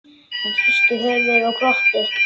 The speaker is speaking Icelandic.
Hann hristi höfuðið og glotti.